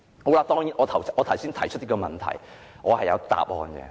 我剛才提出的這個問題，我是有答案的。